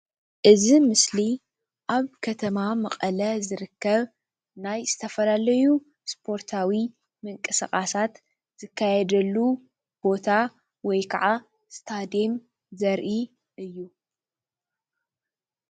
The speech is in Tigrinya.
እዚ ምስሊ አብ ከተማ መቐለ ዝርከብ ናይ ዝተፈላለዩ ስፓርታዊ ምንቅስቃሳት ዝካየደሉ ቦታ ወይ ከዓ ስታዲዮም ዘርኢ እዩ፡፡